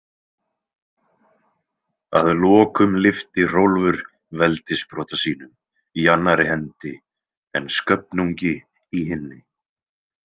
Að lokum lyfti Hrólfur veldissprota sínum í annarri hendi en Sköfnungi í hinni.